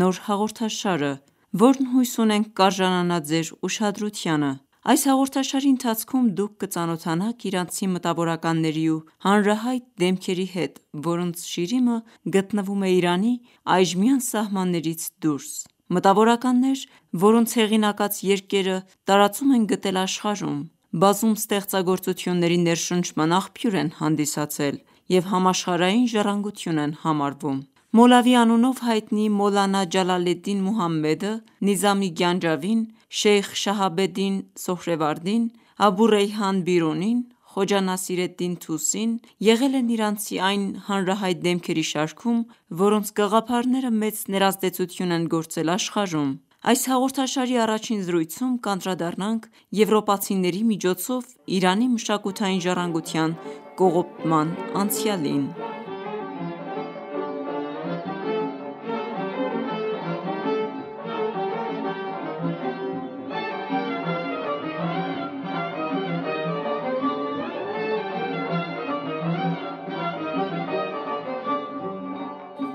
նոր հաղորդաշարը, որ հույս ունենք կարժանանա Ձեր ուշադրությանը: Այս հաղորդաշարի ընթացքում դուք կծանոթանաք իրանցի մտավորականների ու հանրահայտ դեմքերի հետ, որոնց շիրիմը գտնվում է Իրանի այժմյան սահմաններից դուրս: Մտավորականներ, որոնց հեղինակած երկերը տարածում են գտել աշխարհում, բազում ստեղծագործությունների ներշնչման աղբյուր են հանդիսացել և համաշխարհային ժառանգություն են համարվում: Մոլավի անունով հ